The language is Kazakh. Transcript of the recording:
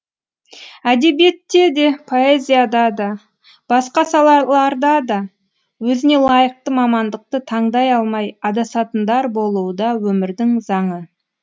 әдебиетте де поэзияда да басқа салаларда да өзіне лайықты мамандықты таңдай алмай адасатындар болуы да өмірдің заңы